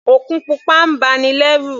Òkun pupa ń ba ni lẹ́rù.